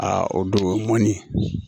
A o don ŋɔni